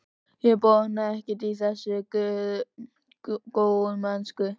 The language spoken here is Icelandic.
Ég botnaði ekkert í þessari góðmennsku.